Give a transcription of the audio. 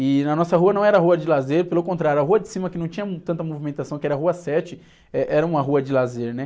E na nossa rua não era rua de lazer, pelo contrário, a rua de cima que não tinha tanta movimentação, que era Rua Sete, eh, era uma rua de lazer, né?